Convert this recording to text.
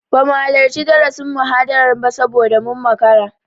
Bamu halarci darasin/muhadarar ba saboda mun makara.